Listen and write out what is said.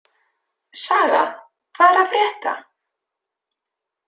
Saga, hvað er að frétta?